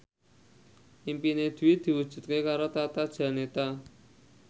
impine Dwi diwujudke karo Tata Janeta